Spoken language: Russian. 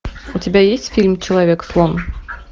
у тебя есть фильм человек слон